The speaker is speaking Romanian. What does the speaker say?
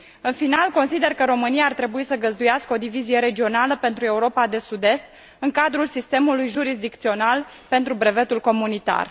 În final, consider că România ar trebui să găzduiască o divizie regională pentru Europa de Sud Est în cadrul sistemului jurisdicțional pentru brevetul comunitar.